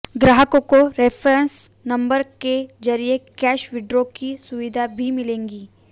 ग्राहकों को reference number के जरिए कैश विड्रॉ की सुविधा भी मिलेगी